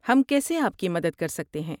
ہم کیسے آپ کی مدد کر سکتے ہیں؟